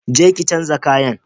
Je ki chanza kayan!